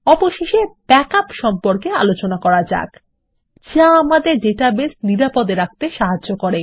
অবশেষে ব্যাকআপস সম্পর্কে আলোচনা করা যাক যা আমাদের ডাটাবেস নিরাপদ রাখতে সাহায্য করে